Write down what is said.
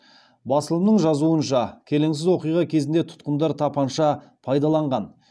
басылымның жазуынша келеңсіз оқиға кезінде тұтқындар тапанша пайдаланған